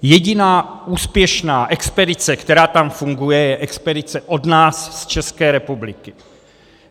Jediná úspěšná expedice, která tam funguje, je expedice od nás z České republiky.